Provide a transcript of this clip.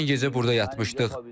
Dünən gecə burda yatmışdıq.